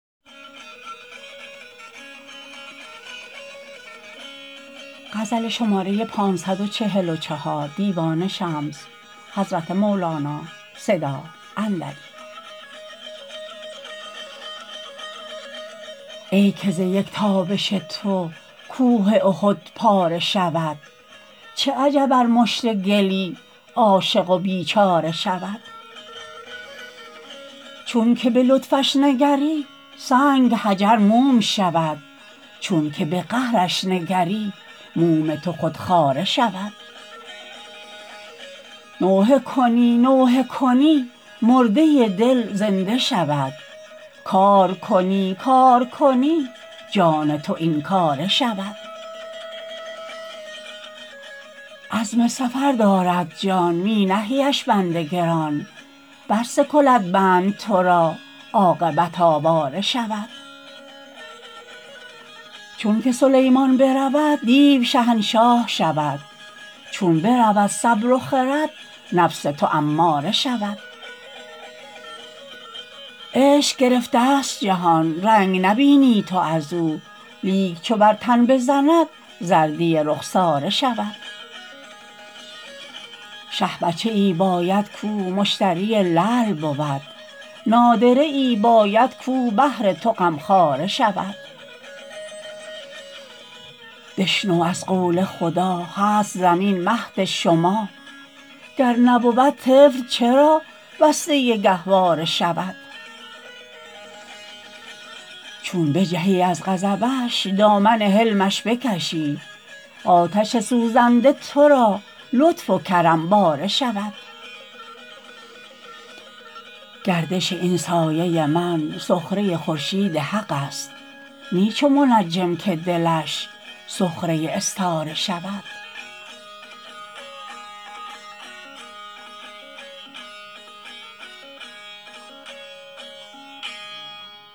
ای که ز یک تابش تو کوه احد پاره شود چه عجب ار مشت گلی عاشق و بیچاره شود چونک به لطفش نگری سنگ حجر موم شود چونک به قهرش نگری موم تو خود خاره شود نوحه کنی نوحه کنی مرده دل زنده شود کار کنی کار کنی جان تو این کاره شود عزم سفر دارد جان می نهیش بند گران برسکلد بند تو را عاقبت آواره شود چونک سلیمان برود دیو شهنشاه شود چون برود صبر و خرد نفس تو اماره شود عشق گرفتست جهان رنگ نبینی تو از او لیک چو بر تن بزند زردی رخساره شود شه بچه ای باید کو مشتری لعل بود نادره ای باید کو بهر تو غمخواره شود بشنو از قل خدا هست زمین مهد شما گر نبود طفل چرا بسته گهواره شود چون بجهی از غضبش دامن حلمش بکشی آتش سوزنده تو را لطف و کرم باره شود گردش این سایه من سخره خورشید حق است نی چو منجم که دلش سخره استاره شود